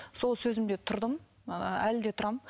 сол сөзімде тұрдым ыыы әлі де тұрамын